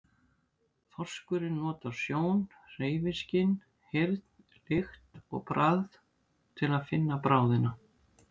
Þorskurinn notar sjón, hreyfiskyn, heyrn, lykt og bragð til að finna bráðina.